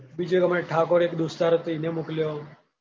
બીજો હમણાં એક ઠાકોર એક દોસ્તાર હતો ઇને મોકલ્યો.